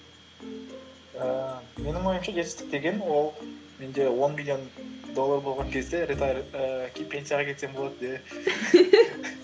ііі менің ойымша жетістік деген ол менде он миллион доллар болған кезде ііі пенсияға кетсем болады де